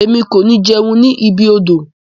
Emi ko ni jẹun ni ibi odò.